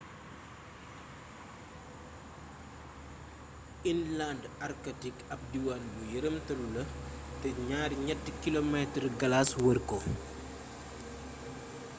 inland antarktik ab diwaan bu yëramtalu la te 2-3 kilomeetaru galaas wër ko